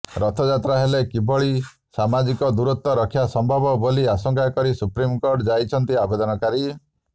ରଥଯାତ୍ରା ହେଲେ କିଭଳି ସାମାଜିକ ଦୂରତ୍ୱ ରକ୍ଷା ସମ୍ଭବ ବୋଲି ଆଶଙ୍କା କରି ସୁପ୍ରିମକୋର୍ଟ ଯାଇଛନ୍ତି ଆବେଦନକାରୀ